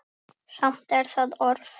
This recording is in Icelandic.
Samt er það orð.